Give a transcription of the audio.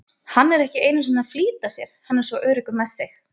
Hann er ekki einu sinni að flýta sér, hann er svo öruggur með sig!